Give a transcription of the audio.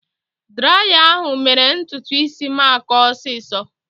Draya ahụ mere ntutu isi m akọọ ọsiisọ.